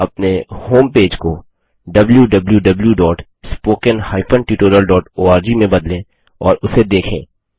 अपने होमपेज को wwwspoken tutorialorg में बदलें और उसे देखें